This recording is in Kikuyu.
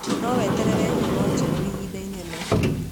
No weterere higo njerũ ihinda inene.